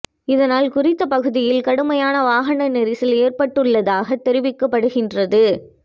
இதனால் குறித்த பகுதியில் கடுமையான வாகன நெரிசல் ஏற்பட்டுள்ளதாகத் தெரிவிக்கப்படுகின்றது